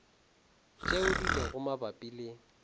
tšeo di lego mabapi le